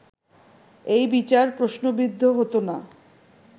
এই বিচার প্রশ্নবিদ্ধ হতো না